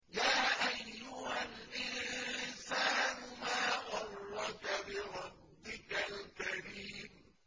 يَا أَيُّهَا الْإِنسَانُ مَا غَرَّكَ بِرَبِّكَ الْكَرِيمِ